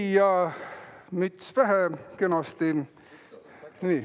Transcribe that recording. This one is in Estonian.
Nii, ja müts pähe kenasti.